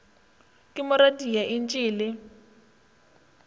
mo radia entše e le